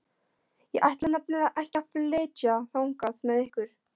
Ég ætla nefnilega ekki að flytja þangað með ykkur.